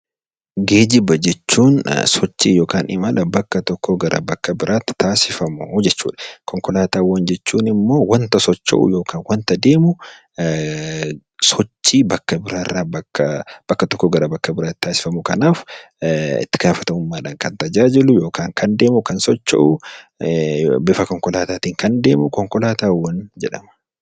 Geejjiba jechuun sochii yookaan imala bakka tokkoo gara bakka biraatti taasifamu jechuudha. Konkolaataawwan jechuun immoo waanta socho'u yookaan waanta deemu, sochii bakka biraarraa bakka, bakka tokkoo gara bakka biraatti taasifamu. Kanaaf itti gaafatamummaadhaan kan tajaajilu, kan deemu yookaan kan socho'u, bifa konkolaataatiin kan deemu konkolaataawwan jedhama.